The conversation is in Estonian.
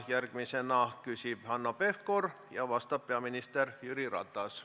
Järgmisena küsib Hanno Pevkur, vastab peaminister Jüri Ratas.